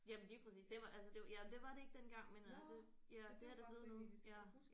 Jamen lige præcis det var altså det var ja det var det ikke dengang men øh det ja det er det blevet nu ja